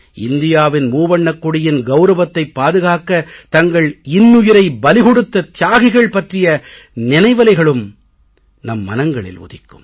இந்தியாவின் மூவண்ணக் கொடியின் கௌரவத்தைப் பாதுகாக்கத் தங்கள் இன்னுயிரை பலி கொடுத்த தியாகிகள் பற்றிய நினைவலைகளும் நம் மனங்களில் உதிக்கும்